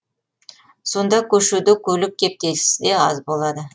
сонда көшеде көлік кептелісі де аз болады